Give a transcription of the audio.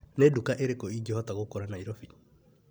Nĩ nduka irĩkũ ingĩhota gũkora Naĩrobĩ ?